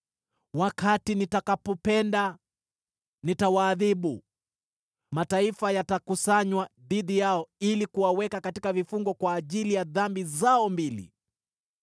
Wakati nitakapopenda, nitawaadhibu; mataifa yatakusanywa dhidi yao ili kuwaweka katika vifungo kwa ajili ya dhambi zao mbili.